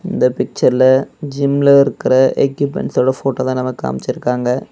இந்த பிச்சர்ல ஜிம்ல இருக்கிற எக்யூப்மெண்ட்ஸோட போட்டோ தான் நமக்கு காமிச்சி இருக்காங்க.